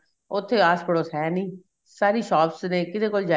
ਉੱਥੇ ਆਸ ਪੜੋਸ ਹੈ ਨੀਂ ਸਾਰੀ shops ਨੇ ਕਿਦੇ ਕੋਲ